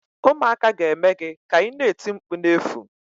Ụmụaka ga-eme gị ka ina eti mkpu na-efu